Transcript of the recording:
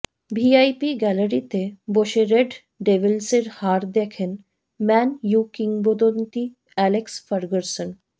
VIP গ্যালারিতে বসে red ডেভিলসের হার দেখেন ম্যান ইউ কিংবদন্তি অ্যালেক্স ফার্গুসন